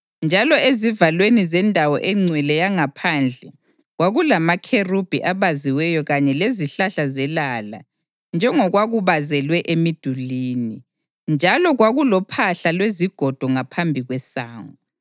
Njalo ezivalweni zendawo engcwele yangaphandle kwakulamakherubhi abaziweyo kanye lezihlahla zelala njengokwakubazelwe emidulini, njalo kwakulophahla lwezigodo ngaphambi kwesango.